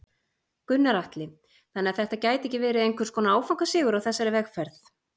Gunnar Atli: Þannig að þetta gæti ekki verið einhvers konar áfangasigur á þessari vegferð?